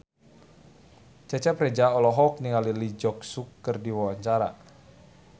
Cecep Reza olohok ningali Lee Jeong Suk keur diwawancara